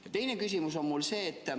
Ja teine küsimus on mul see.